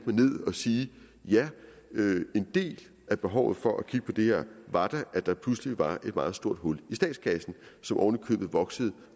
ned og sige ja en del af behovet for at kigge på det her var da at der pludselig var et meget stort hul i statskassen som ovenikøbet voksede